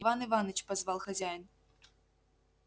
иван иваныч позвал хозяин